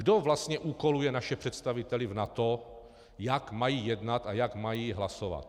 Kdo vlastně úkoluje naše představitele v NATO, jak mají jednat a jak mají hlasovat?